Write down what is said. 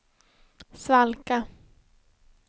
svalka